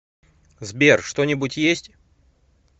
сбер что нибудь есть